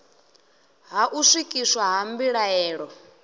ha u swikiswa ha mbilaelo